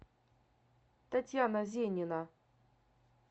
татьяна зенина